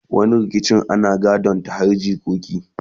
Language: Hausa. wani rikicin ana gadon ta har jikoki